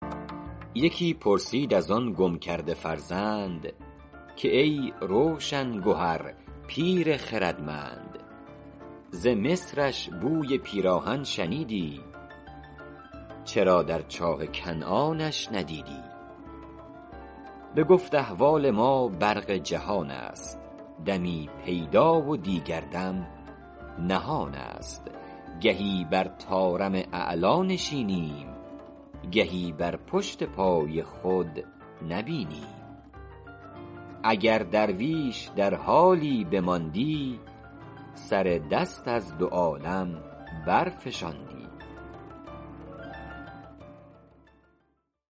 یکی پرسید از آن گم کرده فرزند که ای روشن گهر پیر خردمند ز مصرش بوی پیراهن شنیدی چرا در چاه کنعانش ندیدی بگفت احوال ما برق جهان است دمی پیدا و دیگر دم نهان است گهی بر طارم اعلیٰ نشینیم گهی بر پشت پای خود نبینیم اگر درویش در حالی بماندی سر دست از دو عالم برفشاندی